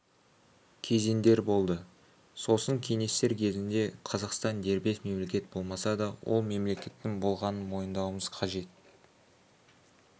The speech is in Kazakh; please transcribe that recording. кезеңдер болды сосын кеңестер кезінде қазақстан дербес мемлекет болмаса да ол мемлекеттің болғанын мойындауымыз қажет